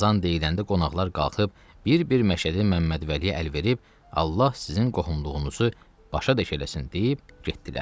Azan deyiləndə qonaqlar qalxıb bir-bir Məşədi Məmmədvəliyə əl verib Allah sizin qohumluğunuzu başa deş eləsin deyib getdilər.